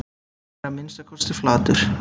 Hann er að minnsta kosti flatur